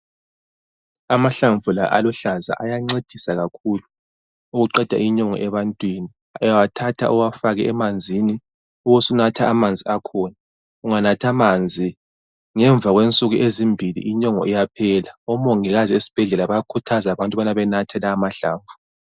Amahlamvu la aluhlaza, ayancedisa kakhulu ukuqeda inyongo ebantwini. Uyawathatha uwafake emanzini. Ubusunatha amanzi akhona. Unganatha amanzi, ngemva kwensuku ezimbili, inyongo iyaphela. Omongikazi esibhedlela bayakhuthaza abantu ukuthi benathe la amahlamvu.